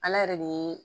Ala yɛrɛ de